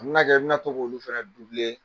N mina kɛ n mina to k'olu fɛnɛ